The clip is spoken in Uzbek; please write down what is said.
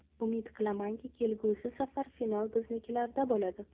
Umid qilamanki, kelgusi safar final biznikilarda bo‘ladi.